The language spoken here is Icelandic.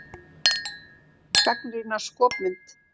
Gagnrýna skopmynd